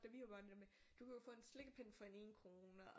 Da vi var børn det der med du kunne jo få en slikkepind for en 1 krone og